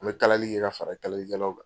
N bɛ kalali kɛ ka fara kalalikɛlaw kan.